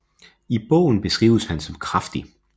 I bogen beskrives han som kraftig